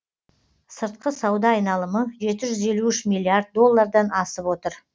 сыртқы сауда айналымы жет іжүз елу үшін миллиард доллардан асып отыр